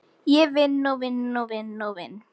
Ég vinn og vinn og vinn og vinn.